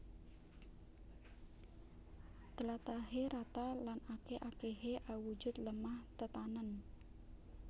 Tlatahé rata lan akèh akèhé awujud lemah tetanèn